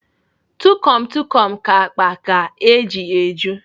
Tukom Tukom ka akpa ga-eji eju.